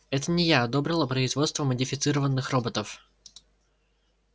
это не я одобрила производство модифицированных роботов